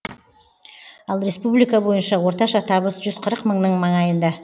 ал республика бойынша орташа табыс жүз қырық мыңның маңайында